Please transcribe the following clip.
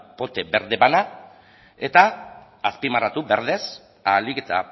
pote berde bana eta azpimarratu berdez ahalik eta